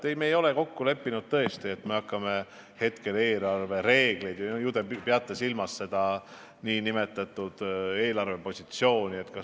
Ei, me ei ole kokku leppinud, et me hakkame eelarvereegleid – ju te peate silmas seda nn eelarvepositsiooni – muutma.